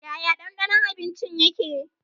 Yaya danɗanon abinci yake?